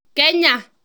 Kenya.